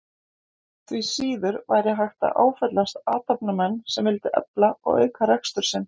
Því síður væri hægt að áfellast athafnamenn sem vildu efla og auka rekstur sinn.